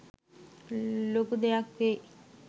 ලොකු දෙයක් වෙයි.